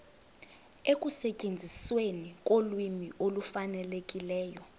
ekusetyenzisweni kolwimi olufanelekileyo